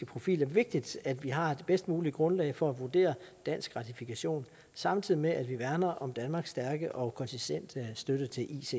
profil er vigtigt at vi har det bedst mulige grundlag for at vurdere dansk ratifikation samtidig med at vi værner om danmarks stærke og konsistente støtte til icc